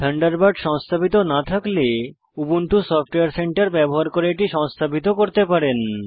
Thunderbird সংস্থাপিত না থাকলে উবুন্টু সফটওয়্যার সেন্টার ব্যবহার করে এটি সংস্থাপিত করতে পারেন